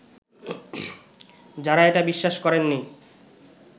যারা এটা বিশ্বাস করেননি